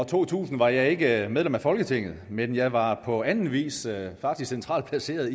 to tusind var jeg ikke medlem af folketinget men jeg var på anden vis faktisk centralt placeret